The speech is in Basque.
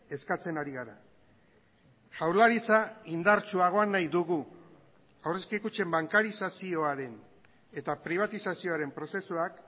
eskatzen ari gara jaurlaritza indartsuagoa nahi dugu aurrezki kutxen bankarizazioaren eta pribatizazioaren prozesuak